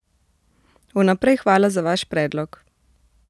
Vnaprej hvala za vaš predlog!